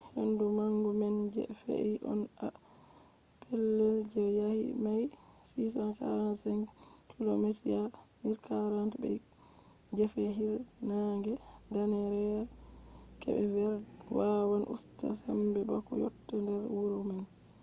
hendu manga man je fe’i on ha pellel je daayi mails 645 kilomita 1040 be gefe hiirnaange danneere kep verd wawan usta sembe bako yotta nder wuro man